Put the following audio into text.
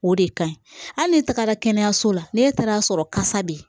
O de ka ɲi hali ni tagara kɛnɛyaso la ne taar'a sɔrɔ kasa bɛ yen